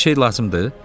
Bir şey lazımdır?